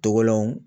Tɔgɔw